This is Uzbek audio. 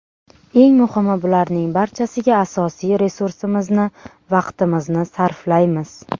Eng muhimi bularning barchasiga asosiy resursimizni vaqtimizni sarflaymiz.